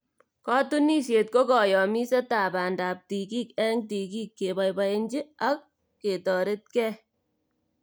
Katunisyet ko kayamisetab bandab tigik eng tigik, keboibochi ak ketoretkei.